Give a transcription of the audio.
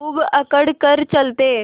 खूब अकड़ कर चलते